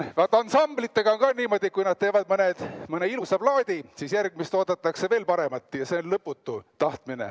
Vaat ansamblitega on ka niimoodi, et kui nad teevad mõne ilusa plaadi, siis järgmist oodatakse veel paremat, ja see on lõputu tahtmine.